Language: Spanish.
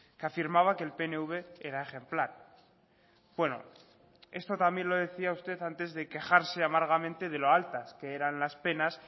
que afirmaba que el pnv era ejemplar bueno esto también lo decía usted antes de quejarse amargamente de lo altas que eran las penas